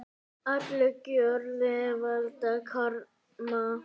Allar gjörðir valda karma.